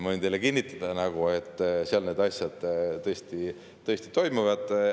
Ma võin teile kinnitada, et seal need asjad tõesti toimivad.